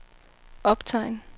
optegn